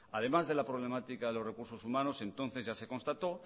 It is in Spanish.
además de la problemática de los recursos humanos entonces ya se constató